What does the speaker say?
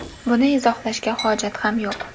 Buni izohlashga hojat ham yo‘q.